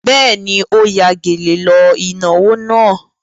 Bẹ́ẹ̀ni, ó ya gèlè lọ ìnáwó náà.